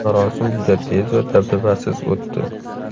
Marosim juda tez va dabdabasiz o‘tdi.